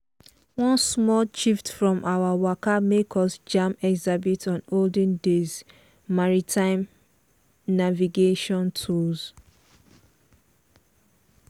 one one small shift from our waka make us jam exhibit on olden days maritime navigation tools.